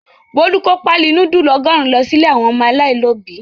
Bólú kó páálí núdúlù ọgọ́rùn-ún lọ sí ilé àwọn ọmọ aláìlóòbí.